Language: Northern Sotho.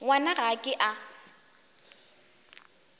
ngwana ga a ke a